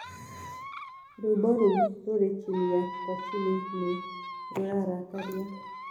rwĩmbo ruũ rũrĩ chini kwa chini ni rurarakaria